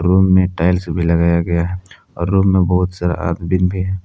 Room में tiles भी लगाया गया है और रूम में बहुत सारा आदबीन भी हैं।